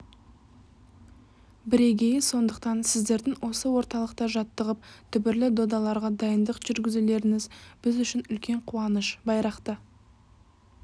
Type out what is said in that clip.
бірегейі сондықтан сіздердің осы орталықта жаттығып дүбірлі додаларға дайындық жүргізулеріңіз біз үшін үлкен қуаныш байрақты